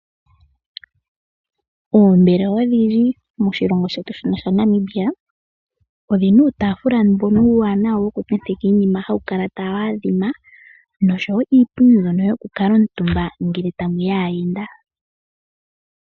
Oombelewa odhindji moshilongo shetu Namibia, odhina uutafula mbuno uuwanawa wukuntenteka iinima hawu kala tawaadhima nosho woo iipundi yokukutumbwa kaayenda.